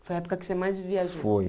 Foi a época que você mais viajou? Foi